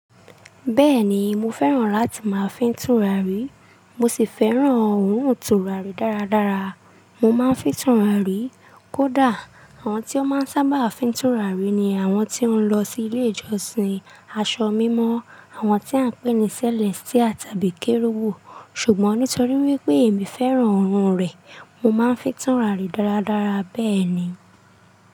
Bẹ́ẹ̀ni, mo fẹ́ràn láti máa fín túràrí, mo sì fẹ́ràn òórùn túràrí dáradára. Mo máa ń fín túràrí. Kódà, àwọn tí ó sábà máa ń fín túràrí ni àwọn tí ó ń lọ sí ilé-ìjọsìn, aṣọ mímọ́, àwọn tí à ń pè ní sẹ́lẹ́sítìà tàbí kérúwò. Ṣùgbọ́n nítorí wípé èmi fẹ́ràn òórùn rẹ̀, mo máa ń fín túràrí dáradára bẹ́ẹ̀ ni.